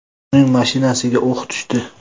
Uning mashinasiga o‘q tushdi.